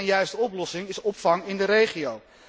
De enige en juiste oplossing is opvang in de regio.